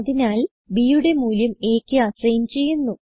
അതിനാൽ bയുടെ മൂല്യം aക്ക് അസൈൻ ചെയ്യുന്നു